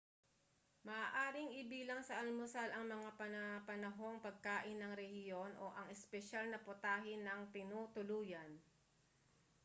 maaaring ibilang sa almusal ang mga panapanahong pagkain ng rehiyon o ang espesyal na putahe ng tinutuluyan